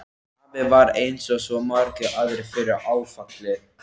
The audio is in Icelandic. Afi varð eins og svo margir aðrir fyrir áfalli.